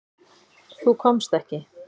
Þú komst ekki.